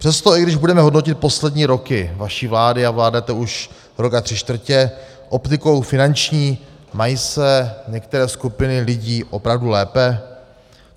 Přesto, i když budeme hodnotit poslední roky vaší vlády, a vládnete už rok a tři čtvrtě, optikou finanční mají se některé skupiny lidí opravdu lépe?